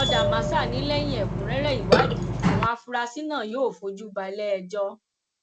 ọdàmásà ni lẹyìn ẹkúnrẹrẹ ìwádìí àwọn afurasí náà yóò fojú balẹẹjọ